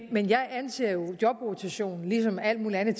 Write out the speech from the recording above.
jeg anser jo jobrotation ligesom alt muligt andet